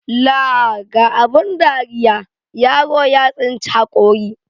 Laa ga abun dariya, yaro ya tsinci haƙori.